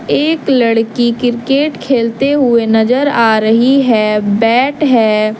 एक लड़की क्रिकेट खेलते हुए नजर आ रही है बैट है।